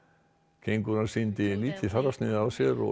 kengúran sýndi lítið fararsnið á sér og